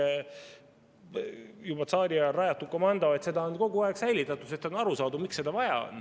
See on juba tsaariajal rajatud komando, seda on kogu aeg säilitatud, sest on aru saadud, miks seda vaja on.